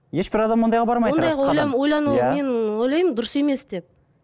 ешбір адам ондайға бармайды мен ойлаймын дұрыс емес деп